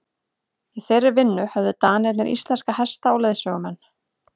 í þeirri vinnu höfðu danirnir íslenska hesta og leiðsögumenn